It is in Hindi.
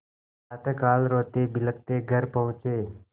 प्रातःकाल रोतेबिलखते घर पहुँचे